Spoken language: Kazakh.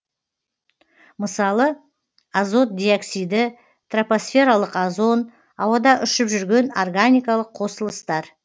мысалы азот диоксиді тропосфералық озон ауада ұшып жүрген органикалық қосылыстар